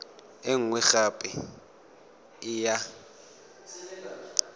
e nngwe gape e ya